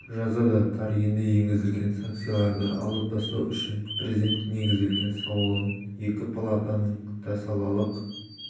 жазады тар енді енгізілген санкцияларды алып тастау үшін президент негізделген сауалын екі палатаның да салалық